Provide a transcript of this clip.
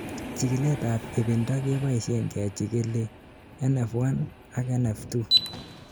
chikilet ab ibinda keboishen kechikili NF1 ak NF2